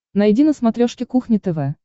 найди на смотрешке кухня тв